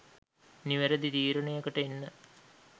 නිවැරැදි තීරණයකට එන්න.